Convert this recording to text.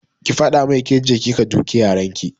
Ki faɗa mai kece kika duke yaran ki!